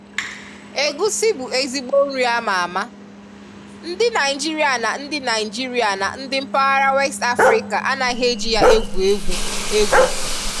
Égusi bụ ezigbó nri ámá ámá, ndị Naịjirịa na ndị Naịjirịa na ndị mpaghara West Afrịká anaghị e ji ya egwu egwú égwu.